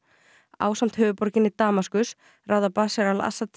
ásamt höfuðborginni Damaskus ráða Bashar al Assad